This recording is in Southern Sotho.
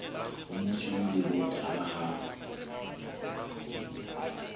o mosweu le botala ha